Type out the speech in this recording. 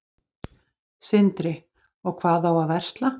Sindri: Og hvað á að versla?